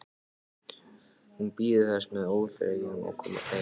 Hún bíður þess með óþreyju að komast heim.